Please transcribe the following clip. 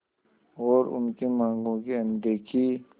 और उनकी मांगों की अनदेखी